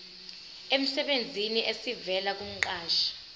emsebenzini esivela kumqashi